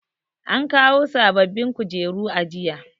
an kawo bababbin kujeru a aji